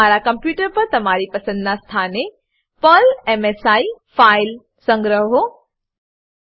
તમારા કોમપ્યુટર પર તમારી પસંદનાં સ્થાને Perl MSI file Perl MSI file સંગ્રહો